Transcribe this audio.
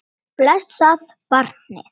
Blessað barnið.